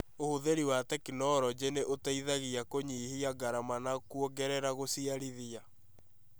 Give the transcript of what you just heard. ũhũthĩri wa tekinoronjĩ ni ũteithagia kũnyihia ngarama na kũongerera gũciarithia